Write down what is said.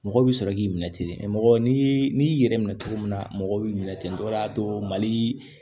Mɔgɔ bɛ sɔrɔ k'i minɛ ten mɛ mɔgɔ n'i y'i yɛrɛ minɛ cogo min na mɔgɔ b'i minɛ ten o de y'a to mali